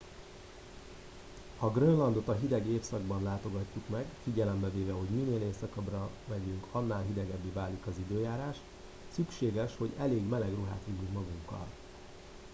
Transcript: ha grönlandot a hideg évszakban látogatjuk meg figyelembe véve hogy minél északabbra megyünk annál hidegebbé válik az időjárás szükséges hogy elég meleg ruhát vigyünk magunkkal